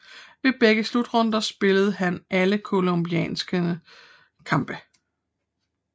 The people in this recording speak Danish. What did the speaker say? Ved begge slutrunder spillede han alle colombianernes kampe